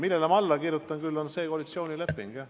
Millele ma aga alla kirjutasin, on koalitsioonileping, jah.